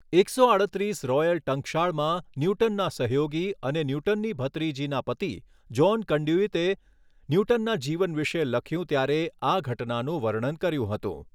એકસો આડત્રિસ રૉયલ ટંકશાળમાં ન્યૂટનના સહયોગી અને ન્યૂટનની ભત્રીજીના પતિ જૉન કનદયુઇતએ ન્યૂટનનના જીવન વિશે લખ્યું ત્યારે આ ઘટનાનું વર્ણન કર્યુ હતું.